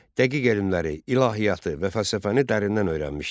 Dəqiq elmləri, ilahiyyatı və fəlsəfəni dərindən öyrənmişdi.